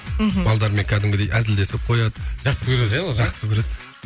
мхм балдармен кәдімгідей әзілдесіп қояды жақсы көреді иә жақсы көреді